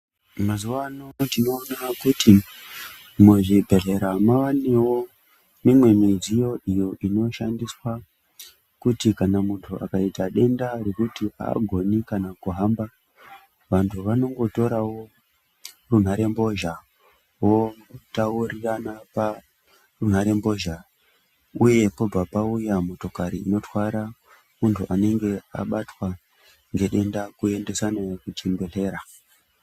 Mazuva ano tinoona kuti muzvibhedhlera mavanevo mimwe midziyo iyo inoshandiswa kuti kana muntu akaita dendaro rokuti haagoni kana kuhamba. Vantu vanongotoravo runhare mbozha votaurirana parunharembozha, uye pobva pauya motokari inotwara muntu unenge abatwa ngedenda kuendeswa naye kuchibhedhlera.